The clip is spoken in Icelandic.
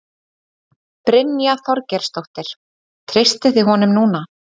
Brynja Þorgeirsdóttir: Treystið þið honum núna?